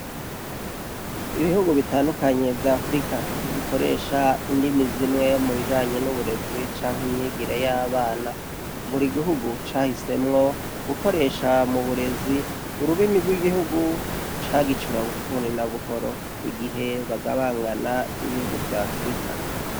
Ibihugu bitandukanye vya afrika ntibikoresha indimi zimwe mubijanye n’uburezi canke imyigire y’abana. Buri gihugu cahisemwo gukoresha muburezi ururimi rw’igihugu cagicura bufuni na buhoro igihe bagabangana ibihugu vya afrika.